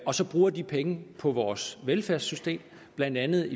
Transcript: og så bruger de penge på vores velfærdssystem blandt andet